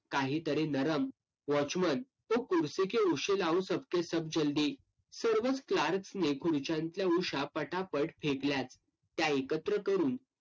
काहीतरी नरम watchman वो कुरशी के उशी लाओ सब के सब जल्दी सर्वच clerks नी खुर्च्यांतल्या उशा पटापट फेकल्या. त्या एकत्र करून